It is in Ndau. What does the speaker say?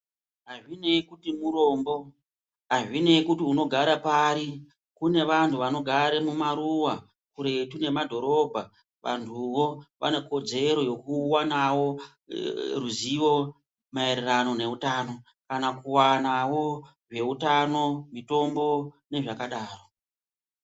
Azvinei kuti murombo, azvinei kuti unogara pari kune vantu vanogare mumaruwa kuretu nemadhorobha, vantuwo vane kodzero yekuwanawo ruzivo maererano neutano kana kuwanawo veutano, mitombo nezvakadaro.